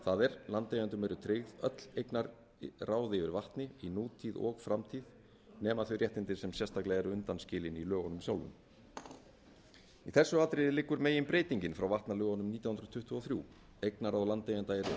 það er landeigendum eru tryggð öll eignarráð yfir vatni í nútíð og framtíð nema þau réttindi sem sérstaklega eru undanskilin í lögunum sjálfum í þessu atriði liggur meginbreytingin frá vatnalögunum frá nítján hundruð tuttugu og þrjú eignarráð landeigenda eru aukin